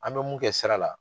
An bɛ mun kɛ sira la